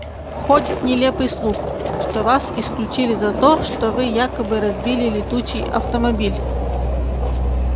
ходит нелепый слух что вас исключили за то что вы якобы разбили летучий автомобиль